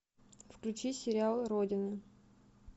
включи сериал родина